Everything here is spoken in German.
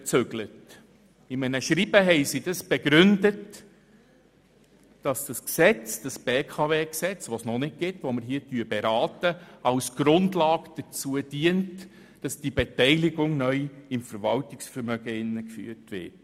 In einem Schreiben wurde als Begründung angegeben, dass das vorliegende BKW-Gesetz, über das wir gerade beraten, als Grundlage dazu diene, die Beteiligung neu im Verwaltungsvermögen zu führen.